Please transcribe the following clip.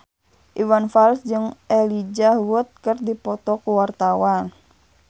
Iwan Fals jeung Elijah Wood keur dipoto ku wartawan